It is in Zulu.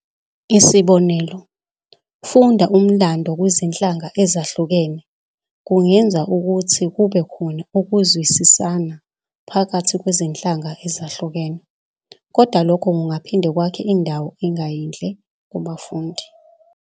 Isibonelo, ufunda umlando kwizinhlanga ezahlukene kungenza ukuthi kube khona ukuzwisisana phakathi kwezinhlanga ezahlukene, koda lokho kungaphinde kwakhe indawo engayinhle kubafundi.